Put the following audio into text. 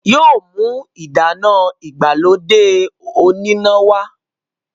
yóò mú ìdáná ìgbàlódé oníná wá.